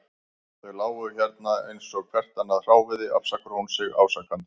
Þau lágu hérna eins og hvert annað hráviði, afsakar hún sig ásakandi.